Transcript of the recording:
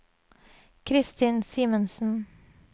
Christin Simensen